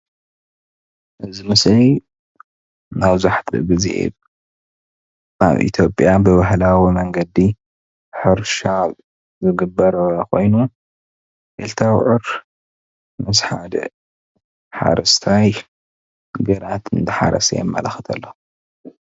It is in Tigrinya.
እዚ ምስሊ መብዛሕትኡ ግዜ ኣብ ኢትዮጵያ ብባህላዊ መንገዲ ሕርሻ ዝግበሮ ኮይኑ ክልተ ኣውዕር ምስ ሓደ ሓረስታይ ግራት እንዳሓረሰ የመላክት ኣሎ፡፡